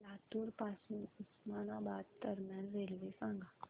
लातूर पासून उस्मानाबाद दरम्यान रेल्वे सांगा